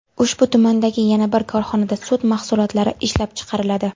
Ushbu tumandagi yana bir korxonada sut mahsulotlari ishlab chiqariladi.